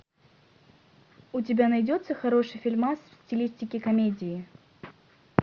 у тебя найдется хороший фильмас в стилистике комедии